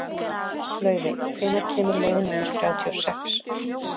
Laufey, hvenær kemur leið númer þrjátíu og sex?